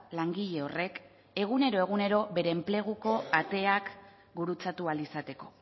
langile horrek egunero egunero bere enpleguko ateak gurutzatu ahal izateko